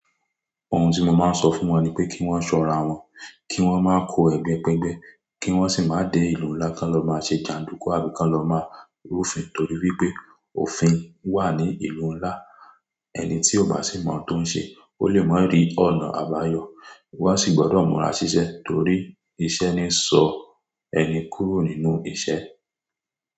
Ohun tí mo máa ń sọ fún wọn ni pé kí wọ́n máa ṣọ́ra wọn, kí wọ́n máa kó ẹgbẹ́ ké'gbẹ́, kí wọ́n sì máa dẹ ìlú ńlá kan lọ máa ṣe jàndùkú, àbí kan lọ máa rúfin. Nítorí wípé òfin wà ní ìlú ńlá, ẹni tí ó bá sì mọ tó ń ṣe, ó lè má rí ọ̀nà àbáyọ. Wọ́n a sì gbọdọ̀ múra siṣẹ́, toríiṣẹ́ ni ń sọ ẹni kúrò nínú ìṣẹ́